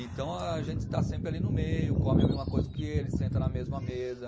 Então a gente está sempre ali no meio, come a mesma coisa que eles, senta na mesma mesa.